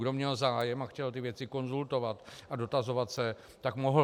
Kdo měl zájem a chtěl ty věci konzultovat a dotazovat se, tak mohl.